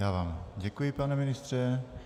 Já vám děkuji, pane ministře.